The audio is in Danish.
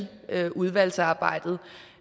udvalgsarbejdet